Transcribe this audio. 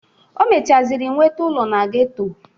O mechazịrị nwete ụlọ na geto.